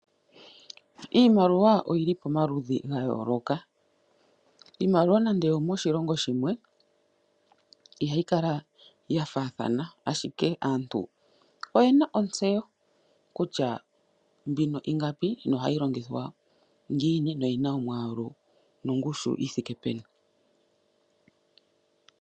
Iimaliwa oyi li pamaludhi ga yooloka. Iimaliwa nande oyomoshilongo shimwe ihayi kala ya faathana, ashike aantu oye na ontseyo kutya mbino ingapi nohayi longithwa ngiini noyi na omwaalu nongushu yi thike peni.